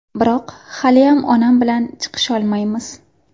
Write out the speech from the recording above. Biroq haliyam onam bilan chiqisholmaymiz.